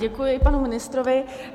Děkuji panu ministrovi.